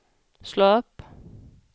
slå upp